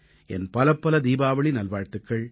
என் பலப்பல தீபாவளி நல்வாழ்த்துக்கள்